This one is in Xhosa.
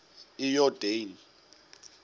iyordane